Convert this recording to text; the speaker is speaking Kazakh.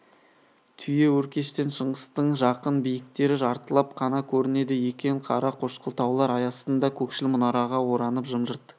түйеөркештен шыңғыстың жақын биіктері жартылап қана көрінеді екен қара қошқыл таулар ай астында көкшіл мұнараға оранып жым-жырт